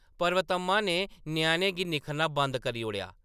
पर्वतम्मा ने ञ्याणें गी निक्खरना बंद करी ओड़ेआ ।